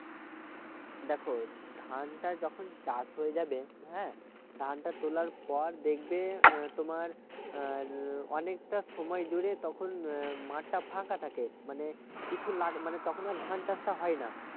দেখো ধানটা যখন চাষ হয়ে যাবে হ্যাঁ ধানটা তোলার পর দেখবে তোমার উম অনেকটা সময় জুড়ে তখন মাঠটা ফাঁকা থাকে মানে কিছু লাগবে তখন আর ধান চাষটা হয় না